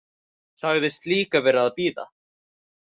Sagðist líka vera að bíða.